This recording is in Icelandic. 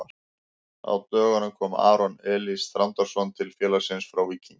Á dögunum kom Aron Elís Þrándarson til félagsins frá Víkingi.